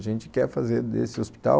A gente quer fazer desse hospital